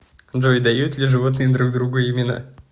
джой дают ли животные друг другу имена